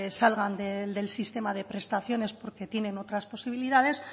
salgan del sistema de prestaciones porque tienen otras posibilidades